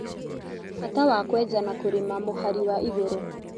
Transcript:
Bata wa kwenja na kũrĩma mũhari wa igũrũ